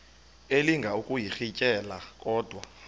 elinga ukuyirintyela kodwa